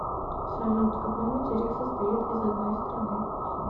салют какой материк состоит из одной страны